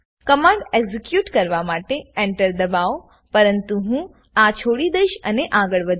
command execute કરવા માટે Enter દબાવોપરંતુ હું આ છોડી દઈશ અને આગળ વધીશ